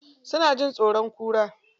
Suna jin tsoron kura.